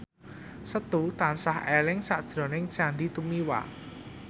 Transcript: Setu tansah eling sakjroning Sandy Tumiwa